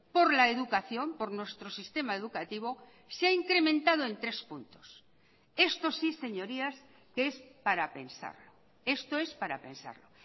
por la educación por nuestro sistema educativo se ha incrementado en tres puntos esto sí señorías que es para pensar esto es para pensarlo